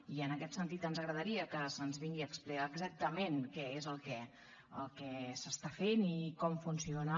i en aquest sentit ens agradaria que se’ns vingui a explicar exactament què és el que s’està fent i com funciona